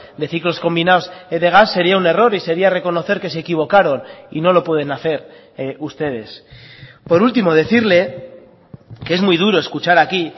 de ciclos combinados de gas sería un error y sería reconocer que se equivocaron y no lo pueden hacer ustedes por último decirle que es muy duro escuchar aquí